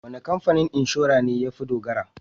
Wane kamfanin inshora ne ya fi dogara?